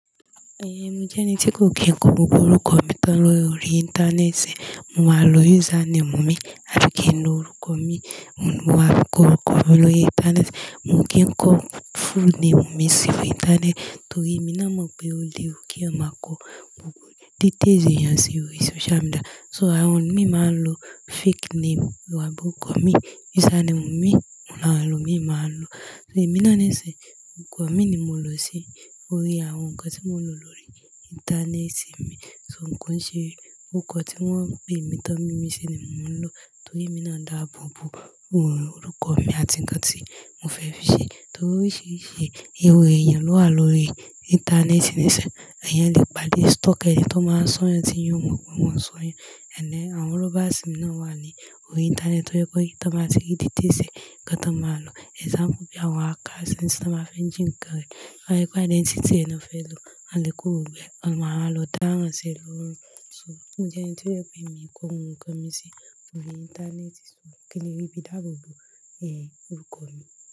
Eh, mo jẹ́ ẹni tí kò kí ń kọ gbogbo orúkọ mi tán lórí Íńtánéètì. Mo máa lo username mi àti kí ń lo orúkọ mi. Mo máa kọ orúkọ mi lórí Íńtánéètì, mio kò kí ń kọ full name mi sí orí Íńtánéètì torí èmi náà mọ̀ pé ó lewù k'èèyàn máa kọ gbogbo derails ẹ̀yán sí orí social media. So àwọn mi máa ń lo fake name wà àbí orúkọ̀ mi, username mi, òun làwon elòmíî máa ń lo. Ṣé èmi náà nisin, orúkọ mi ni mo lò sí orí àwọn nǹkan tí mo ń lò lórí Íńtánéètì mi. Ko n ṣe orúkọ tí wọ́n ń pè mí tán, mími ṣi ni mò ń lò torí èmi náà n dábòòbò orúkọ mi àti ǹkan tí mo fẹ́ fi ṣe. Torí oríṣiríṣi irú ẹ̀yán ló wà lórí Íńtánéètì níṣin, ẹ̀yàn lè pádẹ̀ stalker ẹni tó máa sọ́'yàn tí'yàn ò mọ̀ pé wọn sọ'yàn. And then, àwọn robbers náà wà ní orí Íńtánéètì tó jẹ́ pé tàn báa tí rí details e ǹkan tó máa lò. Example bí àwọn hacker nsin, tí wọ́n bá fé jí ǹkan rẹ̀. Wa ri pé identity ẹ ni fẹ́ lò, wón a lè kó gbogbo e, wón máa wá lọ dáràn sí e lórùn. So mo jẹ́ ẹni tí ó jẹ́ pé mi kọ orúkọ mi sí orí Íńtánéètì so kí n lè rí bí dábòòbò eh orúkọ mi.